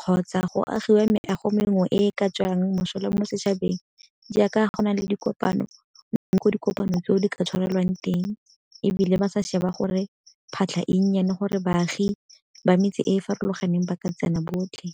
kgotsa go agiwe maeago mengwe e e ka e tswang mosola mo setšhabeng. Jaaka go na le dikopano dikopano tseo di ka tshwarelwang teng ebile ba sa sheba gore phatlha e nnyane gore baagi ba metsi e ew farologaneng ba ka tsena botlhe.